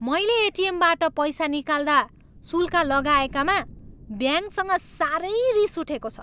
मैले एटिएमबाट पैसा निकाल्दा शुल्क लगाएकामा ब्याङ्कसँग साह्रै रिस उठेको छ।